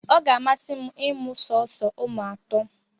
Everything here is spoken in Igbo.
Ọ ga-amasị m ịmụ sọọsọ ụmụ atọ